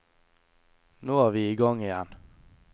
Nå er vi i gang igjen.